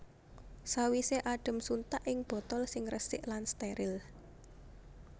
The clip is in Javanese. Sawisé adhem suntak ing botol sing resik lan stèril